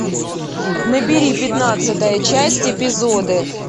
набери пятнадцатая часть эпизоды